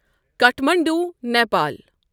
Kathmandu, Nepal.